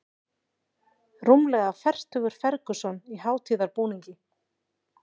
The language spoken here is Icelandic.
Rúmlega fertugur Ferguson í hátíðarbúningi